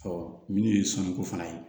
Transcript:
minnu ye sɔnniko fana ye